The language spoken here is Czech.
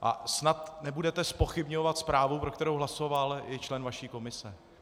A snad nebudete zpochybňovat zprávu, pro kterou hlasoval i člen vaší komise.